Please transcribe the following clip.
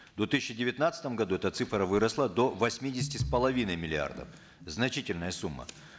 в две тысячи девятнадцатом году эта цифра выросла до восьмидесяти с половиной миллиардов значительная сумма